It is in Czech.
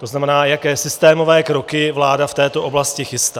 To znamená, jaké systémové kroky vláda v této oblasti chystá.